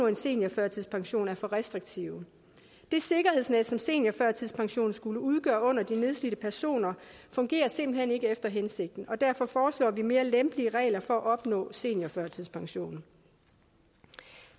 en seniorførtidspension er for restriktive det sikkerhedsnet som seniorførtidspensionen skulle udgøre under de nedslidte personer fungerer simpelt hen ikke efter hensigten og derfor foreslår vi mere lempelige regler for at opnå seniorførtidspension